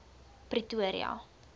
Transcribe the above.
pretoria